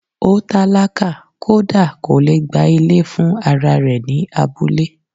Ó tálákà kódà kò lè gba Ilé fún ara rẹ̀ ní abúlé